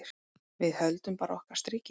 Við höldum bara okkar striki.